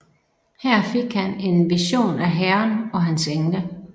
Her fik han en vision af Herren og hans engle